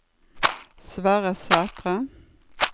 Sverre Sætre